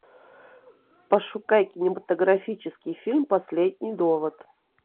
пошукай кинематографический фильм последний довод